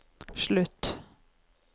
slutt